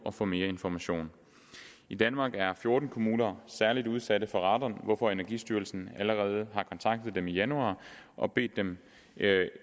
og få mere information i danmark er fjorten kommuner særligt udsatte for radon hvorfor energistyrelsen allerede har kontaktet dem i januar og bedt dem